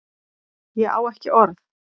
Ég á ekki orð